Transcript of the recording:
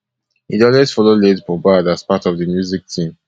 e dey always follow late mohbad as part of di music team